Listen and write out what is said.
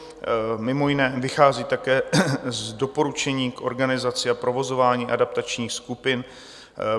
Mimo jiné vychází také z doporučení k organizaci a provozování adaptačních skupin.